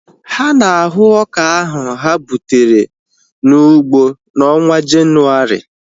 Ha na-ahu ọka ohu ha gbutere n'ụgbọ na onwa Jenuwari